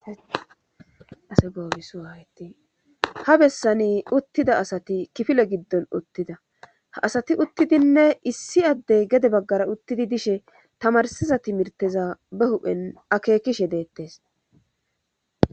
ha bessani uttida asati kifile giddon uttida ha asati uttidinne issi addey gede baggara uttidi dishe tamarsiza timirteza be huphen akekishe deettes.